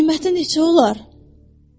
Qiyməti neçə olar?